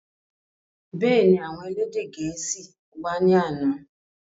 Bẹ́ẹ̀ni, àwọn elédè gẹ̀ẹ́sì wá ní àná